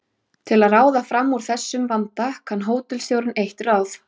Til að ráða fram úr þessum vanda kann hótelstjórinn eitt ráð.